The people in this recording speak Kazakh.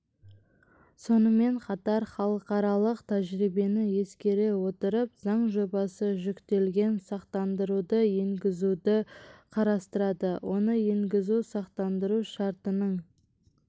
сонымен қатар халықаралық тәжірибені ескере отырып заң жобасы жүктелген сақтандыруды енгізуді қарастырады оны енгізу сақтандыру шартының